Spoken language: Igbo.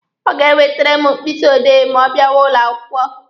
Ọ ga-ewetere m mkpịsị odee ma ọ bịawa ụlọ akwụkwọ.